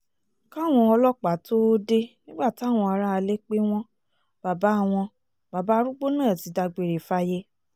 káwọn ọlọ́pàá tóo dé nígbà táwọn aráalé pé wọ́n bàbá wọ́n bàbá arúgbó náà ti dágbére fáyé